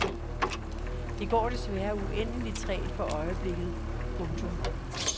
Det går desværre uendeligt trægt for øjeblikket. punktum